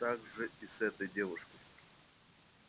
так же и с этой девушкой